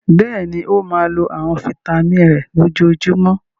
Bẹ́ẹ̀ni, ó máa lo àwọn fataímìn rẹ̀ lójoojúmọ́.